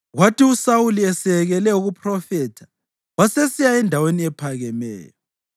Kwathi uSawuli eseyekele ukuphrofetha, wasesiya endaweni ephakemeyo.